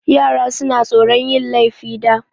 Yara suna tsoron yin laifi da.